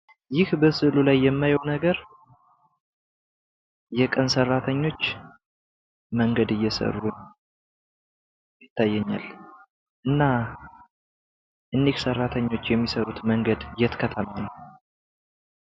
ይህ በምስሉ ላይ የማየው ነገር የቀን ሰራተኞች መንገድ እየሰሩ ነው። እና እነዚህ ሰራተኞች የሚሰሩት መንገድ የት ሃገር ነው?